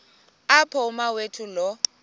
apho umawethu lo